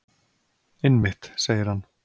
Einmitt, segir hann.